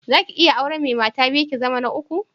Za ki iya auren mai mata biyu, ki zama ta uku?